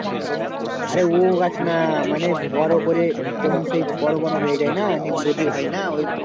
আরে ও গাছ না মানে বড়ো করে যেমন সেই বড়ো বড়ো হয়ে যায় না নিয়ে গোজি হয়না ওই,